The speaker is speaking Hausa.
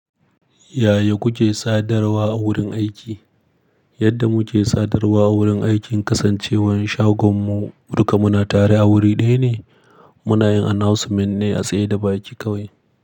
Yaya kuke sadarwa a wurin aiki? Yadda muke sadarwa a wurin aiki, kasancewar shagonmu duka muna tare a wuri ɗaya ne, muna yin announcement ne a tsaye da baki kawai.